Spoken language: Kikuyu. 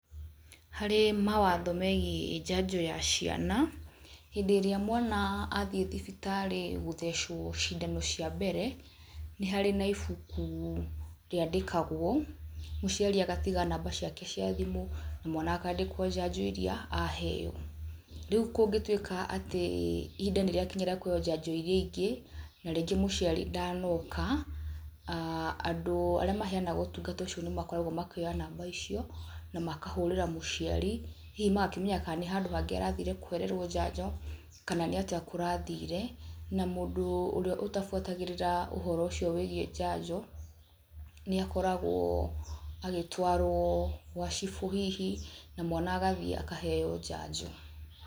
Harĩ mawatho megiĩ njanjo ya ciana, hĩndĩ ĩrĩa mwana athiĩ thibitarĩ gũthecwo cindano cia mbere, nĩ harĩ na ibuku rĩandĩkagwo, mũciari agatiga namba ciake cia thimũ na mwana akandĩka njanjo iria aheo. Rĩu kũngĩtuĩka atĩ ihinda nĩ rĩakinya rĩa keheo njanjo iria ingĩ na rĩngĩ mũciari ndanoka, andũ arĩa mahenaga ũtungata ũcio nĩmakoragwo makĩoya namba icio na makahũrĩra mũciari, hihi magakĩmenya kana nĩ handũ hangĩ aragĩthire kũhererwo njanjo kana nĩ atĩa kũrathire na mũndũ ũrĩa ũtabuatagĩrĩra ũhoro ũcio wĩgiĩ njanjo nĩ akoragwo agĩtwarwo gwa cibũ hihi na mwana agathiĩ akaheo njanjo.